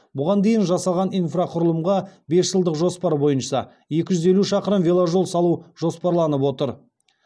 бұған дейін жасалған инфрақұрылымға бес жылдық жоспар бойынша екі жүз елу шақырым веложол салу жоспарланып отыр